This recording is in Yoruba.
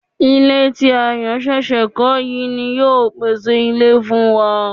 Ilé ti Ayọ̀ ṣẹ̀ṣẹ̀ kọ́ yìí ni yóò pèsè ilé fún wa